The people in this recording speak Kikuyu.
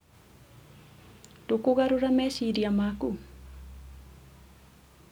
ndũkũgarũra meciria maku?